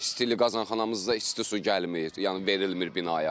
İstilik, qazanxanamızda isti su gəlmir, yəni verilmir binaya.